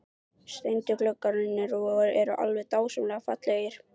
Steindu gluggarnir eru alveg dásamlega fallegir!